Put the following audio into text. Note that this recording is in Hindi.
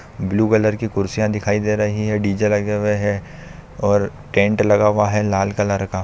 ब्लू वेलेर के कुर्सियां दिखाई दे रही है डी जे लगे हुवे है और टेंट लगा हुवा है लाल कलर का